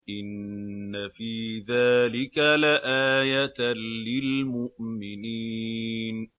إِنَّ فِي ذَٰلِكَ لَآيَةً لِّلْمُؤْمِنِينَ